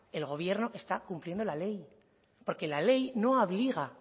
el gobierno está cumpliendo la ley porque la ley no obliga